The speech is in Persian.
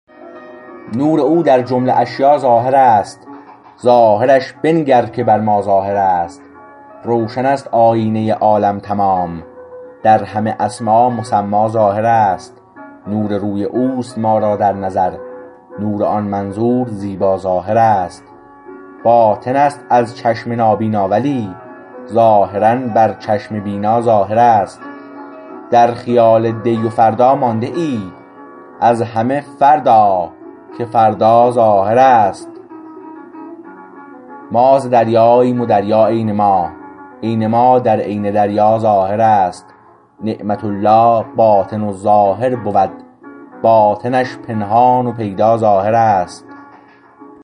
نور او در جمله اشیاء ظاهر است ظاهرش بنگر که بر ما ظاهر است روشن است آیینه عالم تمام در همه اسما مسما ظاهر است نور روی اوست ما را در نظر نور آن منظور زیبا ظاهر است باطن است از چشم نابینا ولی ظاهرا بر چشم بینا ظاهر است در خیال دی و فردا مانده ای از همه فرد آ که فردا ظاهر است ما ز دریاییم و دریا عین ما عین ما در عین دریا ظاهر است نعمت الله باطن و ظاهر بود باطنش پنهان و پیدا ظاهر است